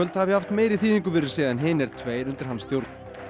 hafi haft meiri þýðingu fyrir sig en hinir tveir Íslandsmeistaratitlarnir undir hans stjórn